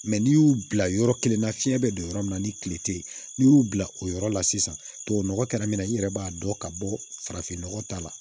n'i y'u bila yɔrɔ kelen na fiɲɛ bɛ don yɔrɔ min na ni kile tɛ ye n'i y'u bila o yɔrɔ la sisan tubabu nɔgɔ kɛra min na i yɛrɛ b'a dɔn ka bɔ farafinnɔgɔ ta la